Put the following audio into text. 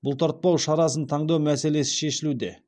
бұлтартпау шарасын таңдау мәселесі шешілуде